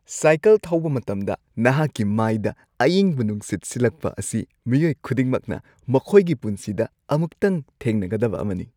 Cycle ꯊꯧꯕ ꯃꯇꯝꯗ ꯅꯍꯥꯛꯀꯤ ꯃꯥꯏꯗ ꯑꯏꯪꯕ ꯅꯨꯡꯁꯤꯠ ꯁꯤꯠꯂꯛꯄ ꯑꯁꯤ ꯃꯤꯑꯣꯏ ꯈꯨꯗꯤꯡꯃꯛꯅ ꯃꯈꯣꯏꯒꯤ ꯄꯨꯟꯁꯤꯗ ꯑꯃꯨꯛꯇꯪ ꯊꯦꯡꯅꯒꯗꯕ ꯑꯃꯅꯤ꯫